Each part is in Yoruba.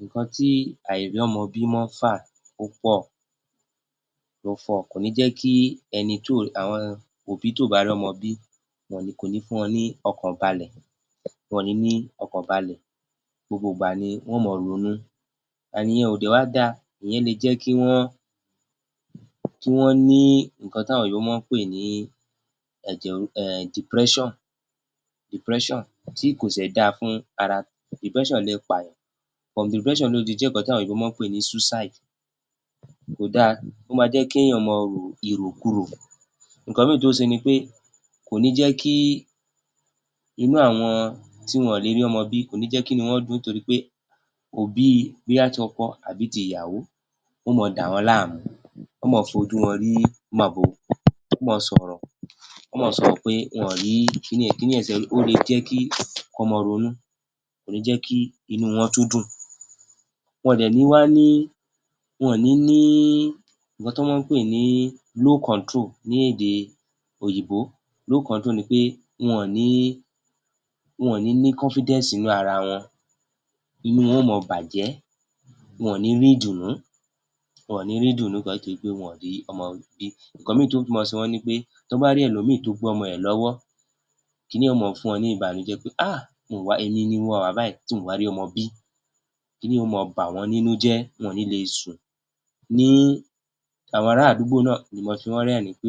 Nǹkan tí àìrọ́mọbí mọ́ ń fà ó pọ̀, kò ní jẹ́ kí ẹni, òbí tí kò bá rọ́mọ bí kò ní jẹ́ kí wọ́n ní ọkàn balẹ̀, kò ní jẹ́ kí wọ́n ní ọkàn balẹ̀, gbogbo ìgbà ni wọn yóò ma ronú ìyẹn ò dẹ̀ wá dá a, ìyẹn ó lè jẹ́ kí wọ́n ní nǹkan tí àwọn òyìnbó mọ́ ọ ń pè ní ẹ̀jẹ̀, depression tí kò dẹ̀ da fún ara, from depression ló lè di pé suicide ó le pààyàn tí àwọn òyìnbó mọ́ ọ ń pè ní suicide, kò dá a ó mọ́ ń jẹ́ kí ènìyàn ro ìrò kurò. Nǹkan mìíràn tó mọ́ ń ṣe ni pé inú àwọn tí kò lè rọ́mọ bi kò ní jẹ́ kí inú wọn dún _ùn nítorí pé, òbí bóyá ti ọkọ tàbí ti ìyàwó wọn yóò mọ dà wọ́n láàmú wọn yóò mọ fojú wọn rí màbo wọn yóò mọ sọ̀rọ̀ wọn yóò mọ sọ̀rọ̀ pé wọn ò rí kíni yẹn lè jẹ́ kí wọ́n mọ́ ronú kò ní jẹ́ kí inú wọn tún dùn wọn ò dẹ̀ ní wá ní low control wọn ò ní ní low control [cm] ní èdè òyìnbó ni pé wọn ò ní ní nǹkan tán mọ́ ń pè ní confidence lédè òyìnbó ni pé wọn ò ní ní nínú ara wọn, inú wọn yóò mọ bàjẹ́, wọn ò ní rí ìdùnnú, wọn ò ní rí ìdùnnú látàrí wí pé wọn ò rí ọmọ bí. Nǹkan mìíràn tí yóò mọ ṣe wọ́n ni wí pé tí wọ́n bá rí ẹlòmíràn tí ó gbé ọmọ rẹ̀ lọ́wọ́ kí ni yẹn yóò mọ fún wọ́n ní ìbànújẹ́ pé um èmi ni mi ò wá báyìí tí mi ò rí omo bí, kí ni yẹn yóò mọ bà wọ́n nínú jẹ́ wọn ò ní le sùn. Ní àwọn ará àdúgbò náà lè máa fi wọ́n rẹ̀rín - ín pé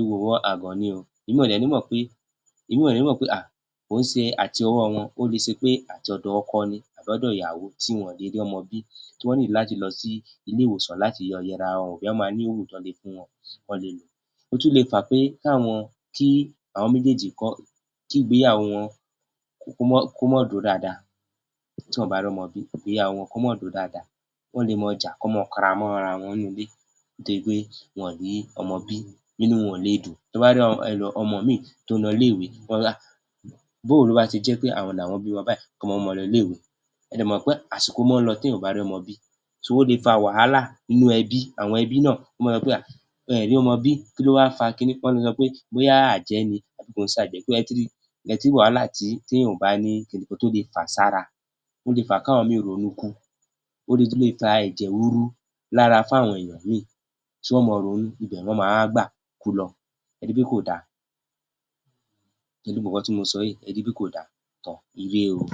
àgàn ni o, wọn ò dẹ̀ ní mọ̀ pé kì í ṣe àtọwọ́ wọn, ó lè jẹ́ látọ̀dọ̀ ọkọ ni tàbí ọ̀dọ̀ ìyàwó tí wọn ò ṣe rí ọmọ bí, tí wọ́n ní láti lọ sí ilé- ìwòsàn láti lọ yẹ ara wọn wò bóyá ó máa ní oògùn tí wọ́n lè lò. Ó tún lè fà á pé tí ìgbéyàwó wọn kó mọ́ dúró dáadáa tí wọn kò bá rọ́mọ bí, kí ìgbéyàwó wọn ò bá dúró dáadáa, wọ́n lè mọ jà kí wọ́n máa kanra mọ́ ara wọn nínú ilé nítorí pé wọn ò rí ọmọ bí, inú wọn ò le dùn, tán bá rí ọmọ míì tó ń lọ ilé - ìwé, wọn á sọ pé bó ló wá ṣe jẹ́ àwọn làwọn ọ dẹ̀ wá bímọ báìí kọ́mọ máa lọ ilé - ìwé,ẹ dẹ̀ mọ̀ pé àsìkò mọ́ lọ tí èèyàn ò bá rí ọmọ bi? ó le fa wàhálà nínú ẹbí, àwọn ẹbí náà wọn lé sọ pé kí ló wá ṣẹlẹ̀, wọ́n lè sọ pé bóyá àjẹ́ ni tàbí kì í sàjẹ́,ẹ ti ri, ẹ ti rí wàhálà tí èèyàn ò bá ní? àwọn nǹkan tó lè fà sára, ó lè fà á kí àwọn ẹlòmíràn ronú kú, ó le tún le fa ẹ̀jẹ̀ ríru lára fún àwọn èèyàn míì tí wọn yóò mọ ronú ibẹ̀ ná mọ wá gbà ku lọ, ẹ ri pé kò da? Pẹ̀lú gbogbo nǹkan tí mo sọ yìí,ẹ ri pé kò da? Toor! um Ire o.